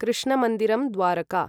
कृष्णमन्दिरम् Dwarka